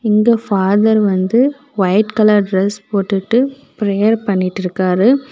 இந்த ஃபாதர் வந்து white colour dress போட்டுட்டு பிரேயர் பண்ணிட்டு இருக்காரு.